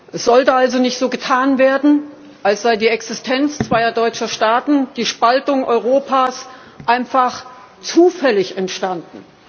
Es sollte also nicht so getan werden, als sei die Existenz zweier deutscher Staaten, die Spaltung Europas, einfach zufällig entstanden.